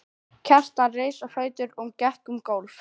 Kjartan reis á fætur og gekk um gólf.